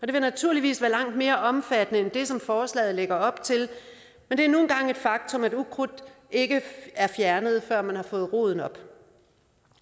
det vil naturligvis være langt mere omfattende end det som forslaget lægger op til men det er nu engang et faktum at ukrudt ikke er fjernet før man har fået roden op